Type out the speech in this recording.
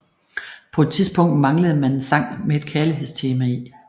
På et tidspunkt manglende man en sang med et kærlighedstema i